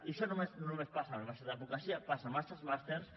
i això no només passa en el màster d’advocacia passa en altres màsters